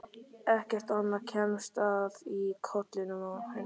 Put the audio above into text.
Ekkert annað kemst að í kollinum á henni.